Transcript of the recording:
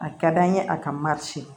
A ka d'an ye a ka